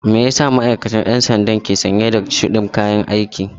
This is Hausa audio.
Meyasa ma'aikacin ɗan sandan ke sanye da shudin kayan aiki?